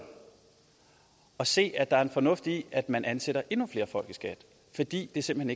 og se at der er en fornuft i at man ansætter endnu flere folk i skat fordi det simpelt